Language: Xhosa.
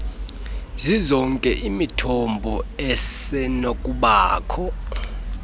zizonke imithombo esenokubakho